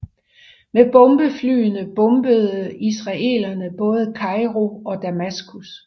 Med bombeflyene bombede israelerne både Kairo og Damaskus